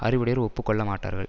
அறிவுடையோர் ஒப்பு கொள்ள மாட்டார்கள்